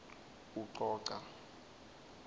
ucoca